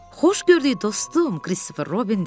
Xoş gördük, dostum, Kristofer Robin dedi.